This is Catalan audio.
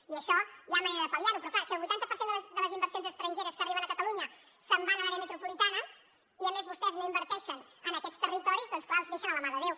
i això hi ha manera de pal·liar ho però clar si el vuitanta per cent de les inversions estrangeres que arriben a catalunya se’n van a l’àrea metropolitana i a més vostès no inverteixen en aquests territoris doncs clar els deixen de la mà de déu